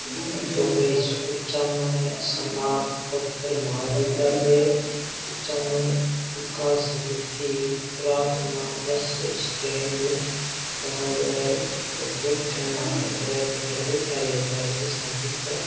तो कोई कुचामन स्नातकोत्तर महाविद्यालय कुचामन विकास समिति प्रार्थना बस स्टैंड बनायेड़ो है इ के ऊपर बैठन खातर टिंगर बैठा रह बस ने उडीके है।